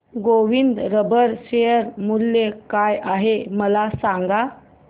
Govind rubber share मूल्य काय आहे मला सांगा